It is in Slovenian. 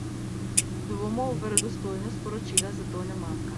Dvomov v verodostojnost poročila zato ne manjka.